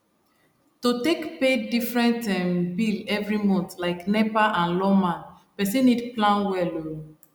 to take pay different um bill every month like nepa and lawma person need plan well um